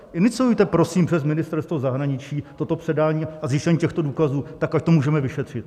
Iniciujte, prosím, přes Ministerstvo zahraničí toto předání a zjištění těchto důkazů tak, ať to můžeme vyšetřit.